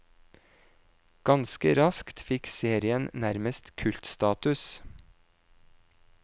Ganske raskt fikk serien nærmest kultstatus.